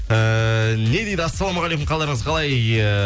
эээ не дейді ассалаумағалейкум қалдарыңыз қалай ііі